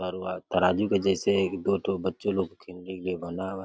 बार बार तराजू के जैसे एक दो ठो बच्चे लोगो के लिए खेलने के लिए बना हुआ है।